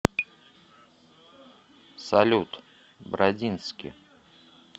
салют бродински